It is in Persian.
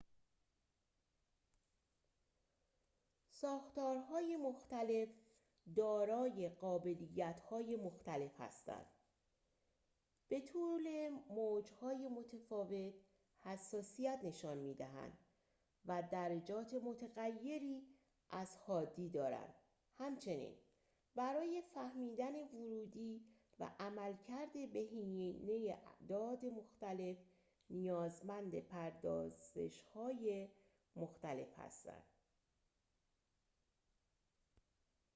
ساختارهای مختلف دارای قابلیت‌های مختلف هستند به طول موج‌های متفاوت حساسیت نشان می‌دهند و درجات متغیری از حادی دارند همچنین برای فهمیدن ورودی و عملکرد بهینه اعداد مختلف نیازمند پردازش‌های مختلف هستند